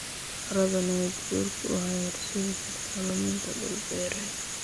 Carradu nabaad guurku waxay horseedi kartaa luminta dhul-beereed.